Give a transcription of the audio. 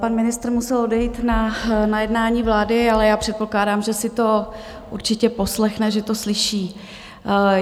Pan ministr musel odejít na jednání vlády, ale já předpokládám, že si to určitě poslechne, že to slyší.